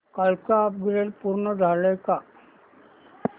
कालचं अपग्रेड पूर्ण झालंय का